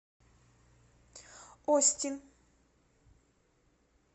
остин